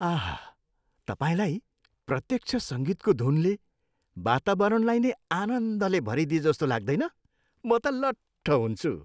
आहा! तपाईँलाई प्रत्यक्ष सङ्गीतको धुनले वातावरणलाई नै आनन्दले भरिदएजस्तो लाग्दैन? म त लट्ठ हुन्छु।